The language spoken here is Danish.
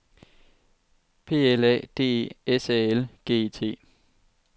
P L A D E S A L G E T